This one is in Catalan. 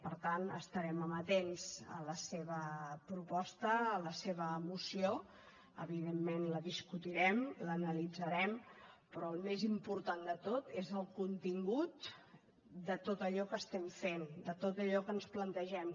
per tant estarem amatents a la seva proposta a la seva moció evidentment la discutirem l’analitzarem però el més important de tot és el contingut de tot allò que estem fent de tot allò que ens plantegem